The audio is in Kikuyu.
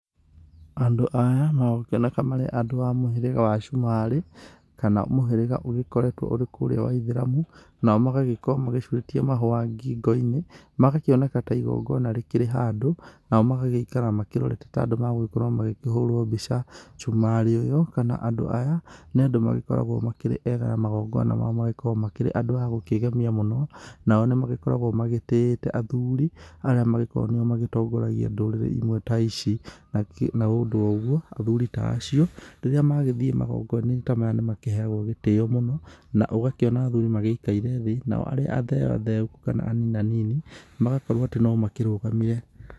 Andũ aya magũkĩoneka marĩ a mũhĩrĩga wa Sumarĩ kana mũhĩrĩga ũgĩkoretwo ũrĩkũrĩa wa Ithĩramu. Nao magagĩkorwo macurĩtie mahũa ngingo-inĩ, magakĩoneka ta igongona rĩkĩrĩ handũ. Nao magagĩikara makĩrorete ta andũ magũgĩkorwo magĩkĩhũrwo mbica. Sumarĩ ũyũ kana andũ aya nĩ andũ magĩkoragwo makĩrĩ ega na magongona mao magagikorwo makĩrĩ andũ agũkĩgemia mũno. Nao nĩ magĩkoragwo magĩtĩĩte athuri, arĩa magĩkoragwo nĩo magĩtongoragia ndũrĩrĩ imwe ta ici. Na nĩ ũndũ wa ũguo athuri ta acio rĩrĩa magĩthiĩ magongaona-inĩ ta maya nĩ makĩheagwo gĩtĩo mũno, na ũgakĩona athuri magĩikaire thĩ. Nao arĩa atheotheũku kana aninanini magakorwo atĩ no makĩrugamire.